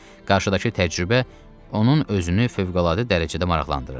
Qarşıdakı təcrübə onun özünü fövqəladə dərəcədə maraqlandırırdı.